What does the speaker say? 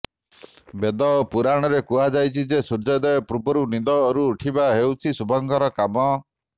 ବେଦ ଓ ପୁରାଣରେ କୁହାଯାଇଛି ଯେ ସୂର୍ଯ୍ୟୋଦୟ ପୂର୍ବରୁ ନିଦରୁ ଉଠିବା ହେଉଛି ଶୁଭଙ୍କର କାମ